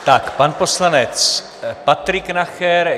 Tak pan poslanec Patrik Nacher.